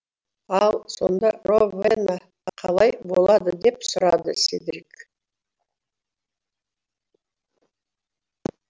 ал сонда ровена қалай болады деп сұрады седрик